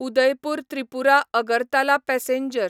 Udaipur Tripura Agartala passenger